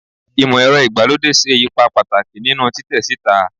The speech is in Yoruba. Imọ-ẹrọ igbalode ṣe ipa pataki ninu titẹ sita